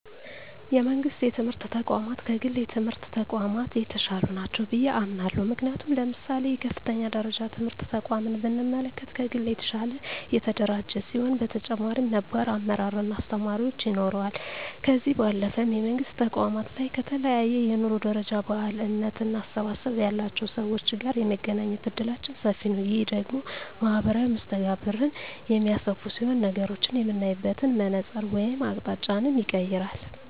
የመንግስት የትምህርት ተቋማት ከግል የትምህርት ተቋማት የተሻሉ ናቸው ብየ አምናለሁ። ምክንያቱም ለምሳሌ የከፍተኛ ደረጃ ትምህርት ተቋምን ብንመለከት ከግል የተሻለ የተደራጀ ሲሆን በተጨማሪም ነባር አመራር እና አስተማሪዎች ይኖረዋል። ከዚህ ባለፈም የመንግስት ተቋማት ላይ ከተለያየ የኑሮ ደረጃ፣ ባህል፣ እምነት እና አስተሳሰብ ያላቸው ሰወች ጋር የመገናኘት እድላችን ሰፊ ነዉ። ይህ ደግሞ ማህበራዊ መስተጋብርን የሚያሰፋ ሲሆን ነገሮችን የምናይበትን መነፀር ወይም አቅጣጫንም ይቀየራል።